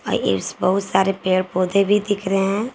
बहुत सारे पेड़ पौधे भी दिख रहे है।